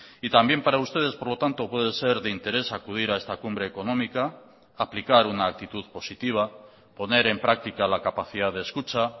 y también para ustedes por lo tanto puede ser de interés acudir a esta cumbre económica aplicar una actitud positiva poner en práctica la capacidad de escucha